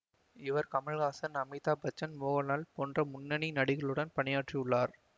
இவர் கமலஹாசன் அமிதாப் பச்சன் மோகன்லால் போன்ற முன்னணி நடிகர்களுடன் பணியாற்றியுள்ளார்